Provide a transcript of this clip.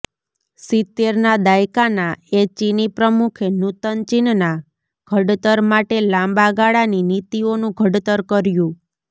સિત્તેરના દાયકાના એ ચીની પ્રમુખે નૂતન ચીનના ઘડતર માટે લાંબા ગાળાની નીતિઓનું ઘડતર કર્યું